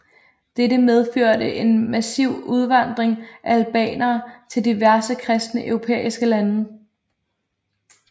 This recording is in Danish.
Dette medførte en massiv udvandring af albanere til diverse kristne europæiske lande